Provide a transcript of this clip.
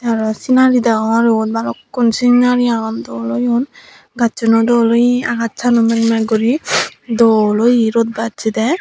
aro sinari deyongor ebot balukkun sinari agon dol oyon gassu no dol oye akash sano mag mag gori dol oye rod bassi de.